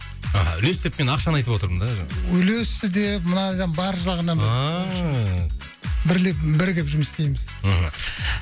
аха үлес деп мен ақшаны айтып отырмын да жаңағы үлесі де бар жағынан біз ааа бірлік бірігіп жұмыс істейміз мхм